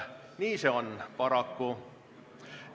Nii see paraku on.